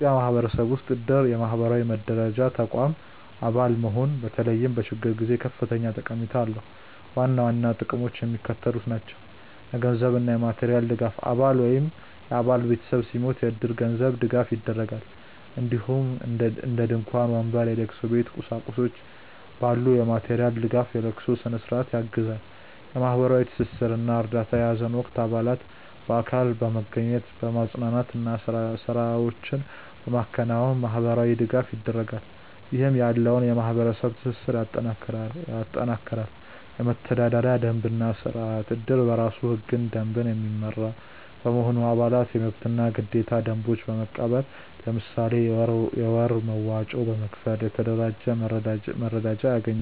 በኢትዮጵያ ማህበረሰብ ውስጥ እድር (የማህበራዊ መረዳጃ ተቋም) አባል መሆን በተለይም በችግር ጊዜ ከፍተኛ ጠቀሜታ አለው። ዋና ዋና ጥቅሞቹ የሚከተሉት ናቸው - የገንዘብ እና የማቴሪያል ድጋፍ: አባል ወይም የአባል ቤተሰብ ሲሞት እድር የገንዘብ ድጋፍ ያደርጋል፣ እንዲሁም እንደ ድንኳን፣ ወንበር፣ የለቅሶ ቤት ቁሳቁሶች ባሉ የማቴሪያል ድጋፎች የለቅሶ ስነ-ስርዓቱን ያግዛል። የማህበራዊ ትስስር እና እርዳታ: በሀዘን ወቅት አባላት በአካል በመገኘት፣ በማፅናናት እና ስራዎችን በማከናወን ማህበራዊ ድጋፍ ያደርጋሉ፣ ይህም ያለውን የማህበረሰብ ትስስር ያጠናክራል። የመተዳደሪያ ደንብ እና ስርአት: እድር በራሱ ህግና ደንብ የሚመራ በመሆኑ፣ አባላት የመብትና ግዴታ ደንቦችን በመቀበል፣ ለምሳሌ የወር መዋጮ በመክፈል፣ የተደራጀ መረዳጃ ያገኛሉ።